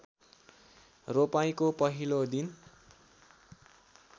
रोपाइँको पहिलो दिन